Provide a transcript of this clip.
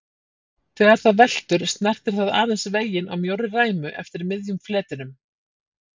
Þegar það veltur snertir það aðeins veginn á mjórri ræmu eftir miðjum fletinum.